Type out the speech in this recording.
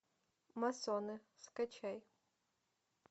массоны скачай